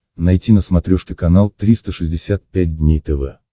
найти на смотрешке канал триста шестьдесят пять дней тв